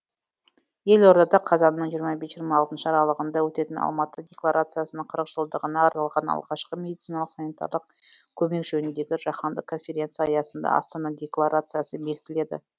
елордада қазанның жиырма бес жиырма алтыншы аралығында өтетін алматы декларациясының қырық жылдығына арналған алғашқы медициналық санитарлық көмек жөніндегі жаһандық конференция аясында астана декларациясы бекітіледі